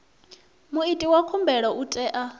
muiti wa khumbelo u tea